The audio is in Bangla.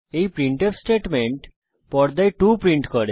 এই প্রিন্টফ স্টেটমেন্ট পর্দায় 2 প্রিন্ট করে